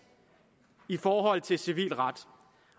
i forhold til civil ret